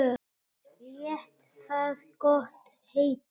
Lét það gott heita.